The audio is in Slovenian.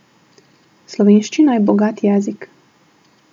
Slovenščina je bogat jezik.